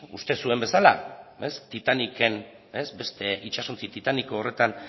uste zuen bezala titaniken beste itsasontzi titaniko horretan